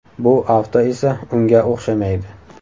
Bu avto esa unga o‘xshamaydi.